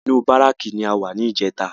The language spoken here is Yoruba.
Inú bárákì ni a wà ní ìjẹta